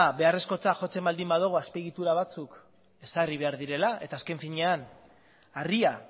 beharrezkotzat jotzen baldin badugu azpiegitura batzuk ezarri behar direla eta azken finean harria